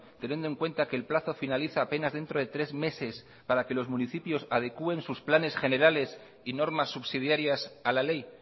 teniendo en cuenta que el plazo finaliza a penas dentro de tres meses para que los municipios adecuen sus planes generales y normas subsidiarias a la ley